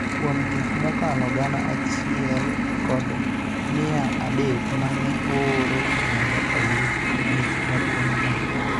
Kuom gik mokalo gana achie kod mia adek ma ne ooro mondo oyud mich maduong�no,